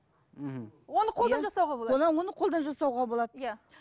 мхм оны қолдан жасауға болады оны қолдан жасауға болады иә